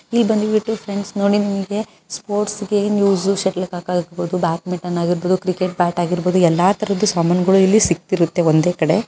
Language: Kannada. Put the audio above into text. ಇಲ್ ಬಂದ್ ಬಿಟ್ಟು ನೋಡಿ ಫ್ರೆಂಡ್ಸ್ ನಿಮಗೆ ಕ್ರಿಕೆಟ್ ಆಗಬಹುದು ಎಲ್ಲಾ ಇಲ್ಲಿ ಸಿಗುತ್ತದೆ